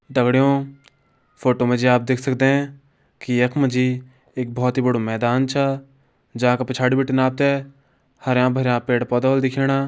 दगड़ियों फोटो मा जी आप देख सकदे की यख मा जी एक बहोत ही बड़ु मैदान छा जांका पिछाड़ी बीटिन आप त हरयां भरयां पेड़ पौधा होला दिखेणा।